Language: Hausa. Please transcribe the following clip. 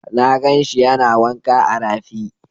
Na gan shi yana wanka a rafi.